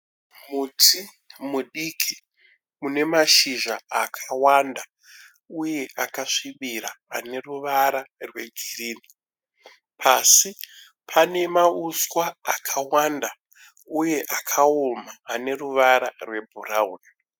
Muti mudiki une mashizha akavanda uye akasvibira aneruvara rwegirini pasi pane mauswa akavanda uye akaoma aneruvara rwebhurauni